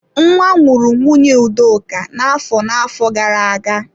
Nwa nwụrụ nwunye Udoka na-afọ na-afọ gara-aga.